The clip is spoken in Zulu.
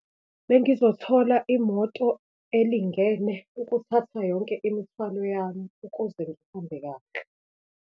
Bengizothola imoto elingene ukuthatha yonke imithwalo yami ukuze ngihambe kahle.